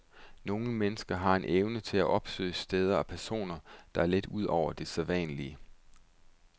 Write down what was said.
Nogle mennesker har en evne til at opsøge steder og personer, der er lidt ud over det sædvanlige.